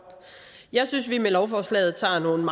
jeg synes at vi med lovforslaget tager nogle